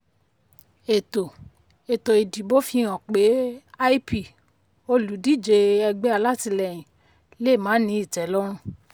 ètò ètò ìdìbò fihàn pé lp olùdíje ẹgbẹ́ alátilẹ́yin lè má ní ìtẹ́lọ̀rùn.